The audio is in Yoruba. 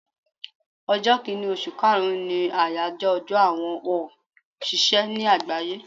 Ọjọ́ kínì osù kaàrún ni àyájọ́ ọjọ́ àwọn on òṣìṣẹ́ ní àgbáyé